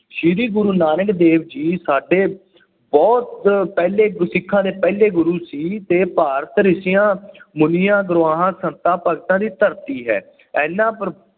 ਸ਼੍ਰੀ ਗੁਰੂ ਨਾਨਕ ਦੇਵ ਜੀ ਸਾਡੇ ਬਹੁੁਤ ਪਹਿਲੇ ਗੁਰ ਸਿੱਖਾਂ ਦੇ ਪਹਿਲੇ ਗੁਰੂ ਸੀ ਅਤੇ ਭਾਰਤ ਰਿਸ਼ੀਆਂ, ਮੁਨੀਆਂ, ਗੁਰੂਆਂ, ਸੰਤਾਂ, ਭਗਤਾਂ ਦੀ ਧਰਤੀ ਹੈ। ਇਹਨਾਂ